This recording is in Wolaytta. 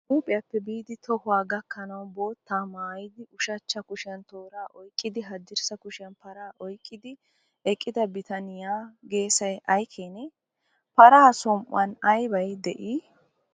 Huupheppe biidi tohuwaa gakkanawu boottaa maayidi ushachcha kushiyan tooraa oyiqqidi haddirssa kushiyan paraa oyiqqidi eqqida bitaniyaa geesayi ayikeenee? Paraa som'uwan aybay de'ii?